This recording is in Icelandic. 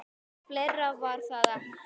. fleira var það ekki.